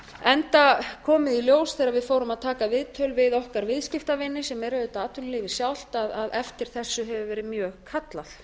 enda komið í ljós þegar við fórum að taka viðtöl við okkar viðskiptavini sem eru auðvitað atvinnulífið sjálft að eftir þessu hefur verið mjög kallað